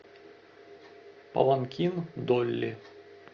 паланкин долли